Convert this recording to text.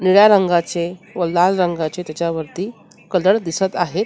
निळ्या रंगाचे व लाल रंगाचे त्याच्यावरती कलर दिसत आहेत.